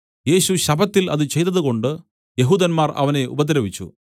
യേശു ശബ്ബത്തിൽ അത് ചെയ്തതുകൊണ്ടു യെഹൂദന്മാർ അവനെ ഉപദ്രവിച്ചു